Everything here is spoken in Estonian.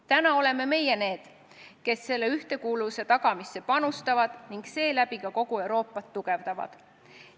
" Täna oleme meie need, kes selle ühtekuuluvuse tagamisse panustavad ning seeläbi ka kogu Euroopat tugevdavad.